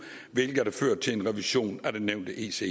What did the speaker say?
hvilket har ført til en revision af det nævnte ece